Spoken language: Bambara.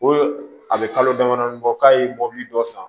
Ko a bɛ kalo damadɔ bɔ k'a ye mobili dɔ san